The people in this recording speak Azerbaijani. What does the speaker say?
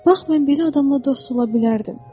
Bax mən belə adamla dost ola bilərdim.